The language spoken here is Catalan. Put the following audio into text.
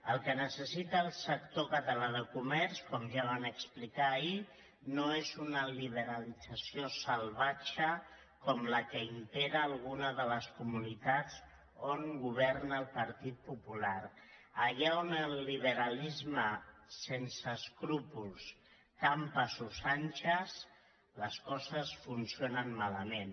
el que necessita el sector català de comerç com ja vam explicar ahir no és una libera·lització salvatge com la que impera en alguna de les comunitats on governa el partit popular allà on el li·beralisme sense escrúpols campa a sus anchas les co·ses funcionen malament